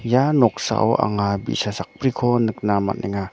ia noksao anga bi·sa sakbriko nikna man·enga.